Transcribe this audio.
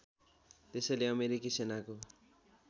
त्यसैले अमेरिकी सेनाको